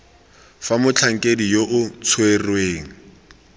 fa motlhankedi yo o tshwereng